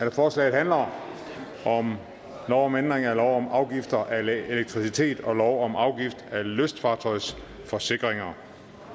at forslaget handler om lov om ændring af lov om afgift af elektricitet og lov om afgift af lystfartøjsforsikringer